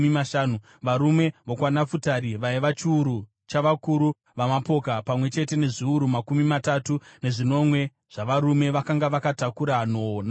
varume vokwaNafutari vaiva chiuru chavakuru vamapoka, pamwe chete nezviuru makumi matatu nezvinomwe zvavarume vakanga vakatakura nhoo namapfumo;